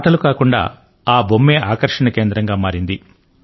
ఆటలు కాకుండా ఆ బొమ్మే ఆకర్షణ కేంద్రంగా మారింది